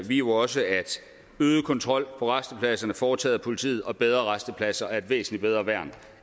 vi jo også at øget kontrol på rastepladserne foretaget af politiet og bedre rastepladser er et væsentlig bedre værn